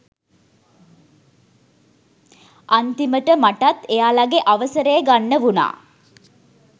අන්තිමට මටත් එයාලගේ අවසරය ගන්න වුණා